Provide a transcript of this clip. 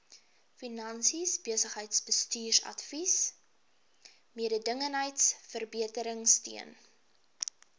finansies besigheidsbestuursadvies mededingendheidsverbeteringsteun